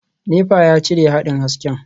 Nepa ya cire haɗin hasken.